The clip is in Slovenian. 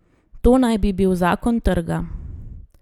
To naj bi bil zakon trga.